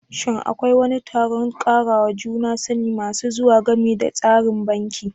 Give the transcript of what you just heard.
Shin Akwai wani taron karawa juna sani masu zuwa game da tsarin banki?